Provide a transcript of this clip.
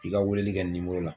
I ka weleli kɛ nin nimero la